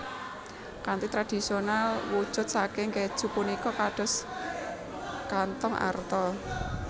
Kanthi tradisional wujud saking kèju punika kados kanthong arta